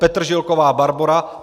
Petržilková Barbora